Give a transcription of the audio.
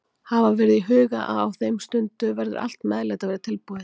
Hafa verður í huga að á þeirri stundu verður allt meðlæti að vera tilbúið.